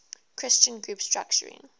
christian group structuring